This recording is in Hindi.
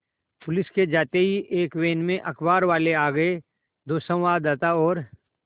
पुलिस के जाते ही एक वैन में अखबारवाले आ गए दो संवाददाता और